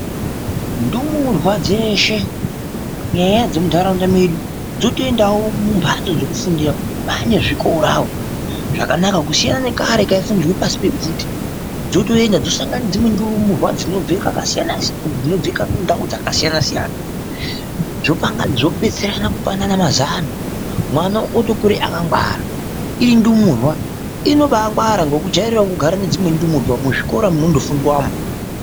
Ndumurwa dzeshe kunyanyanyanya dzemunharaunda medu dzotoendawo mumhatso dzekufundira mwane zvikorawo zvakanaka, kusiyana nekare kwaifundirwe pasi pebvute dzotoenda dzosangana nedzimwe ndumurwa dzinobve ndau dzakasiyanasiyana dzobetserana kupanana mazano mwana otokura akangwara indumurwa inoba yangwara kukujairire kugara nedzimweni ndumurwa muzvikora munondofundwamo.